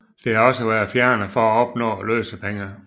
Det har også været fjernet for at opnå løsepenge